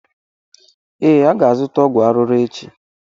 Ee, aga azụta ọgwụ arụrụ echi